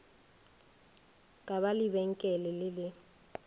ka ba lebenkele le le